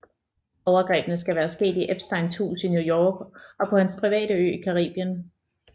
Overgrebene skal være sket i Epsteins hus i New York og på hans private ø i Caribien